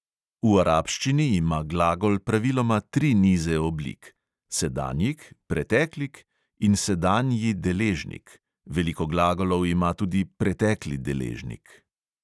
V arabščini ima glagol praviloma tri nize oblik: sedanjik, preteklik in sedanji deležnik; veliko glagolov ima tudi pretekli deležnik.